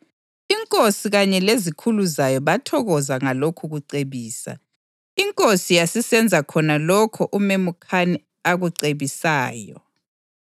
Inkosi kanye lezikhulu zayo bathokoza ngalokhu kucebisa, inkosi yasisenza khona lokho uMemukhani akucebisayo.